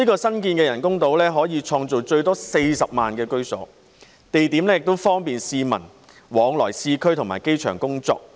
新建的人工島可以創造最多40萬個居所，地點亦方便市民往返市區及機場工作。